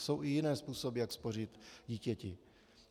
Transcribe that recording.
Jsou i jiné způsoby, jak spořit dítěti.